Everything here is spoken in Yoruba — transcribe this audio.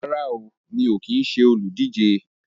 Rárá o, mi ò kín ṣe olùdíje